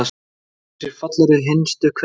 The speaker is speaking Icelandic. Er hægt að hugsa sér fallegri hinstu kveðju?